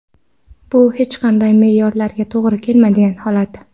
Bu hech qanday me’yorlarga to‘g‘ri kelmaydigan holat!.